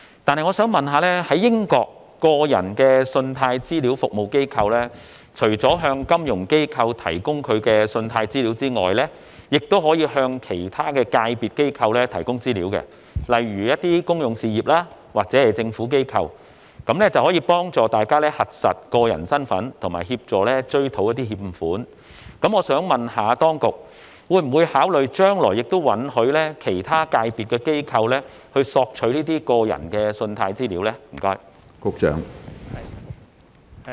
鑒於英國的個人信貸資料服務機構除了可向金融機構提供信貸資料外，亦可向其他界別的機構提供資料，以便有關機構核實個人身份及追討欠款。我想詢問，當局會否考慮允許其他界別的機構索取個人信貸資料？